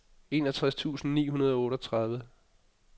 enogtres tusind ni hundrede og otteogtredive